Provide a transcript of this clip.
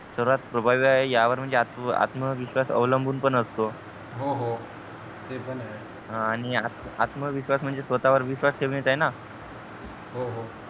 सर्वात प्रभावी आहे यावर म्हणजे आत्मविश्वास अवलंबून पण असतो हो हो ते पण आहे आणि आत्मविश्वास म्हणजे स्वतः वर विश्वास ठेवणेच आहे न हो हो